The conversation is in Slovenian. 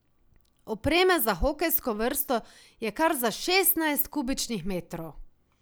Opreme za hokejsko vrsto je kar za šestnajst kubičnih metrov.